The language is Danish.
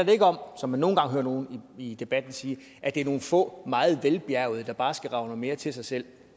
jo ikke om som man nogle gange hører nogle i debatten sige at det er nogle få meget velbjærgede der bare skal rage noget mere til sig selv